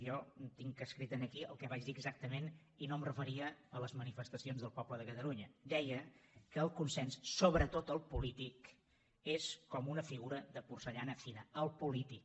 jo tinc escrit aquí el que vaig dir exactament i no em referia a les manifestacions del poble de catalunya deia que el consens sobretot el polític és com una figura de porcellana fina el polític